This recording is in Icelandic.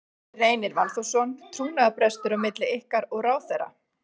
Gunnar Reynir Valþórsson: Trúnaðarbrestur á milli ykkar og ráðherra?